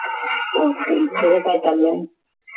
तुझं काय चाललंय